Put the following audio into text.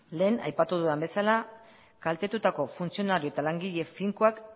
lehen aipatu dudan bezala kaltetutako funtzionari eta langile finkoak